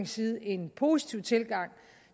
side en positiv tilgang